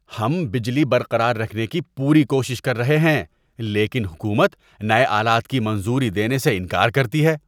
ہم بجلی برقرار رکھنے کی پوری کوشش کر رہے ہیں لیکن حکومت نئے آلات کی منظوری دینے سے انکار کرتی ہے۔